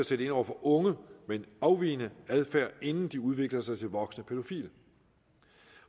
sætte ind over for unge med en afvigende adfærd inden de udvikler sig til voksne pædofile